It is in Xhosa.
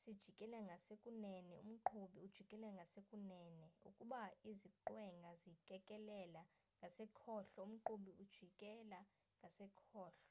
sijikela ngasekunene umqhubi ujikela ngasekunene ukuba iziqwenga zikekelela ngasekhohlo umqhubi ujikela ngasekhohlo